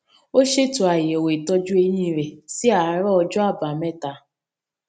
ó ṣètò àyẹwò ìtọjú eyín rẹ sí àárọ ọjọ àbámẹta